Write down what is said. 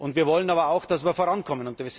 Wir wollen aber auch, dass wir vorankommen.